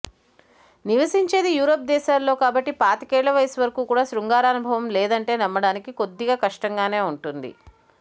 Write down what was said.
నివసించేది Europe దేశాల్లో కాబట్టి పాతికేళ్ల వయసు వరకు కూడా శృంగారానుభవం లేదంటే నమ్మడానికి కొద్దిగా కష్టంగానే ఉంటుంది